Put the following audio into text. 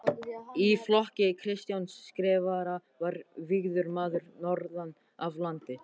Í flokki Kristjáns Skrifara var vígður maður norðan af landi.